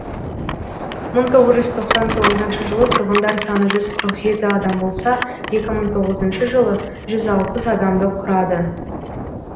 мың тоғыз жүз тоқсан тоғызыншы жылы тұрғындар саны жүз қырық жеті адам болса екі мың тоғызыншы жылы жүз алпыс адамды құрады